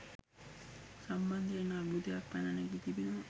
සම්බන්ධයෙන් අර්බුදයක් පැන නැගී තිබෙනවා.